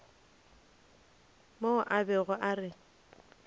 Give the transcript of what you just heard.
mo a bego a re